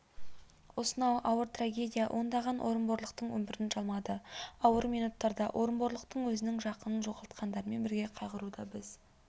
осынау ауыр трагедия ондаған орынборлықтың өмірін жалмады ауыр минуттарда орынборлықтан өзінің жақынын жоғалтқандармен бірге қайғыруда біз